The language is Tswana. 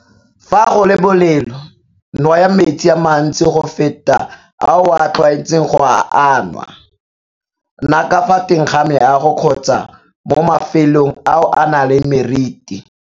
Fa go le bolelo nwaya metsi a mantsi go feta ao o tlwaetseng go a anwa. Nna ka fa teng ga meago kgotsa mo mafelong ao a nang le meriti.